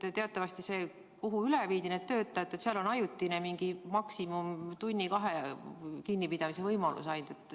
Sest teatavasti seal, kuhu need töötajad üle viidi, on ajutine, maksimum tunni-kahe jooksul kinnipidamise võimalus ainult.